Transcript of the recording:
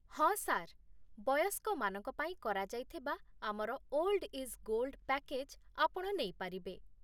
ହଁ, ସାର୍। ବୟସ୍କମାନଙ୍କ ପାଇଁ କରାଯାଇଥିବା ଆମର 'ଓଲ୍ଡ଼ ଇଜ୍ ଗୋଲ୍ଡ଼' ପ୍ୟାକେଜ୍ ଆପଣ ନେଇପାରିବେ।